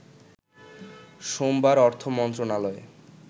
সোমবার অর্থ মন্ত্রণালয়ের